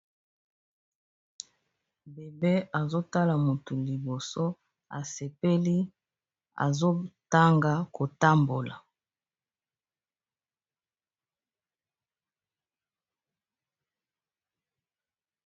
Bebe azo tala moto liboso asepeli azo tanga kotambola.